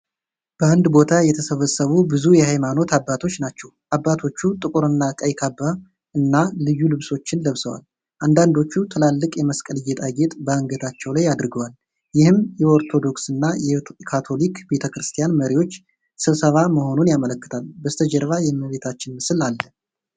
በአንድ ቦታ የተሰበሰቡ ብዙ የሃይማኖት አባቶች ናቸው። አባቶቹ ጥቁርና ቀይ ካባና ልዩ ልብሶችን ለብሰዋል። አንዳንዶቹ ትላልቅ የመስቀል ጌጣጌጥ በአንገታቸው ላይ አድርገዋል። ይህም የኦርቶዶክስና የካቶሊክ ቤተክርስቲያን መሪዎች ስብሰባ መሆኑን ያመለክታል። በስተጀርባ የእመቤታችን ምስል አለ።